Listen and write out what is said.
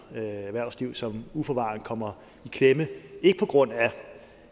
erhvervslivet som uforvarende kommer i klemme ikke på grund af